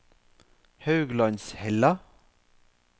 Hauglandshella